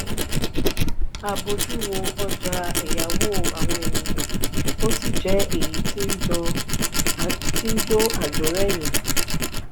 a bójú wo ọjà èyáwó àwọn ènìyàn ó sì jẹ èyí tí n jo ajo reyin.